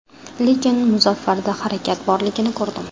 Lekin Muzaffarda harakat borligini ko‘rdim.